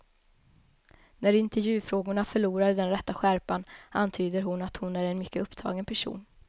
När intervjufrågorna förlorar den rätta skärpan antyder hon att hon är en mycket upptagen person.